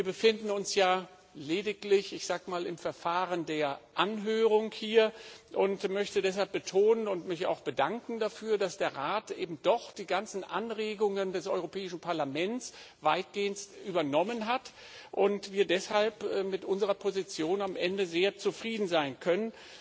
Wir befinden uns ja lediglich, ich sag mal, im Verfahren der Anhörung hier. Ich möchte deshalb betonen und mich auch bedanken dafür, dass der Rat eben doch die ganzen Anregungen des Europäischen Parlaments weitgehend übernommen hat und wir deshalb mit unserer Position am Ende sehr zufrieden sein können.